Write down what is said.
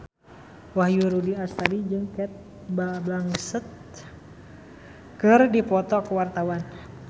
Wahyu Rudi Astadi jeung Cate Blanchett keur dipoto ku wartawan